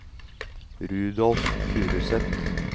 Rudolf Furuseth